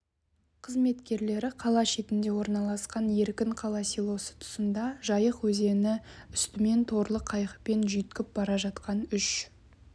қызметкерлері қала шетінде орналасқан еркінқала селосы тұсында жайық өзені үстіменмоторлы қайықпен жүйткіп бара жатқан үш